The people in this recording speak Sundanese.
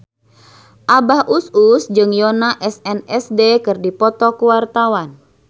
Abah Us Us jeung Yoona SNSD keur dipoto ku wartawan